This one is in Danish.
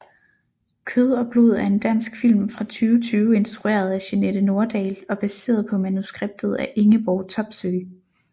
Kød og blod er en dansk film fra 2020 instrueret af Jeanette Nordahl og baseret på manuskriptet af Ingeborg Topsøe